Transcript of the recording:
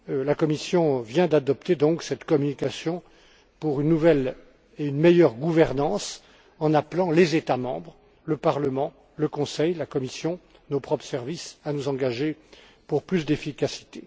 La Commission vient donc d'adopter cette communication pour une nouvelle et une meilleure gouvernance en appelant les États membres, le Parlement, le Conseil, la Commission et nos propres services à nous engager pour plus d'efficacité.